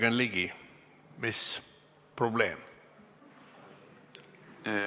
Jürgen Ligi, mis probleem on?